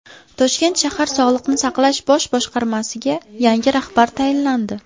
Toshkent shahar Sog‘liqni saqlash bosh boshqarmasiga yangi rahbar tayinlandi.